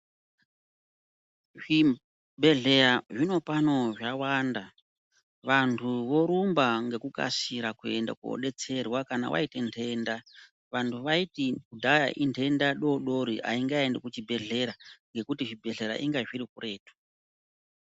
Zvibhedhleya zvinopano zvawanda. Vantu vorumba ngekukasira kuende kodetserwa kana waite ndenda. Vanhu vaiti kudhaya indenda dori-dori haingaendi kuchibhedhlera ngekuti zvibhedhlera inga zviri kuretu.